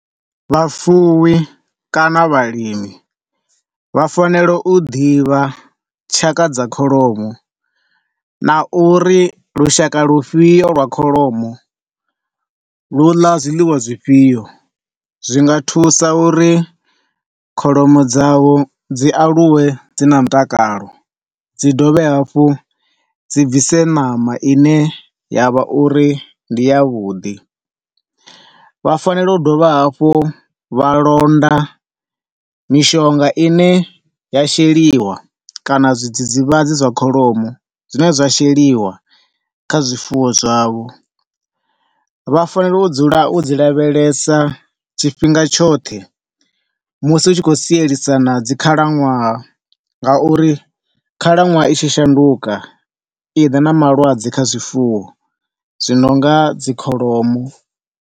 Vhufuwi kana vhalimi vha fanela u ḓivha tshakha dza kholomo na uri lushaka lufhio lwa kholomo lu ḽa zwiḽiwa zwifhio zwinga thusa uri kholomo dzavho dzi aluwe dzi na mutakalo dzi dovhe hafhu dzi bvise ṋama ine yavha uri ndi ya vhuḓi. Vha fanela u dovha hafhu vha londa mishonga ine ya sheliwa kana zwidzidzivhadzi zwa kholomo zwine zwa sheliwa kha zwifuwo zwavho. Vha fanela u dzula u dzi lavhelesa tshifhinga tshoṱhe musi u tshi khou sielisana dzi khalaṅwaha nga uri khalaṅwaha i tshi shanduka i ḓa na malwadze kha zwifuwo zwi nonga dzi kholomo.